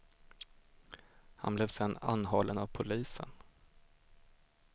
Han blev sedan anhållen av polisen.